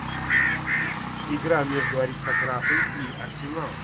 игра между аристократы и арсенал